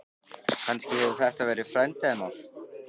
Kannski hefur þetta verið frændi hennar?